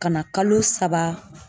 Ka na kalo saba